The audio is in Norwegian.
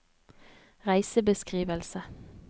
reisebeskrivelse